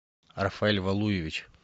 рафаэль валуевич